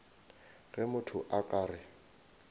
ge motho a ka re